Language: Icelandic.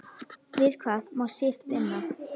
Við hvað má Sif vinna?